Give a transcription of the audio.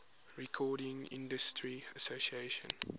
recording industry association